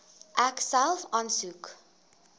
ek self aansoek